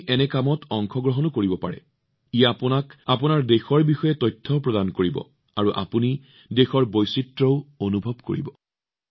আপোনালোকে এই কাৰ্যকলাপবোৰত অংশগ্ৰহণ কৰিব পাৰে ই আপোনালোকক নিজৰ দেশৰ বিষয়ে তথ্যও প্ৰদান কৰিব আৰু দেশৰ বৈচিত্ৰ্যও অনুভৱ কৰিব